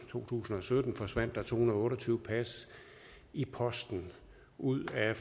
tusind og sytten forsvandt det er to hundrede og otte og tyve pas i posten ud af